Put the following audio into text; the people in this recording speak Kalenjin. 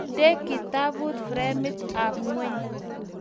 Inde kitabut framit ab ngweny